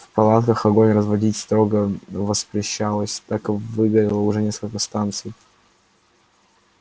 в палатках огонь разводить строго воспрещалось так выгорело уже несколько станций